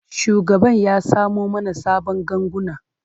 Shugaban ya samo mana sabon ganguna.